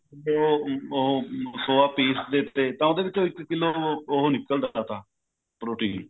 ਜੇ ਉਹ soya ਪੀਸਦੇ ਤਾਂ ਉਹਦੇ ਵਿੱਚੋ ਇੱਕ ਕਿੱਲੋ ਉਹ ਨਿਕਲਦਾ ਥਾ protein